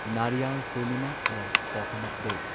Nariyal Purnima or coconut day